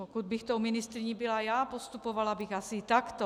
Pokud bych tou ministryní byla já, postupovala bych asi takto.